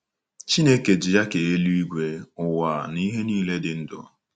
Chineke ji ya kee eluigwe, ụwa, na ihe nile dị ndụ.